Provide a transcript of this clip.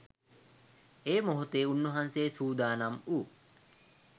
ඒ මොහොතේ උන්වහන්සේ සූදානම් වූ